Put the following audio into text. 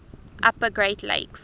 upper great lakes